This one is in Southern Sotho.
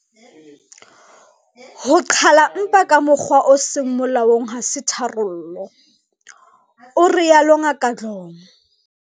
"Ho qhala mpa ka mokgwa o seng molaong ha se tharollo," o rialo Ngaka Dlomo.